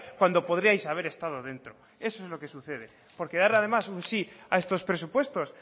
cuando podríais haber estado dentro eso es lo que sucede porque darle además un sí a estos presupuestos